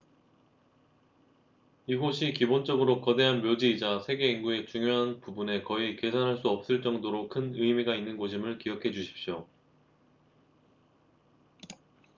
이곳이 기본적으로 거대한 묘지이자 세계 인구의 중요한 부분에 거의 계산할 수 없을 정도로 큰 의미가 있는 곳임을 기억해 주십시오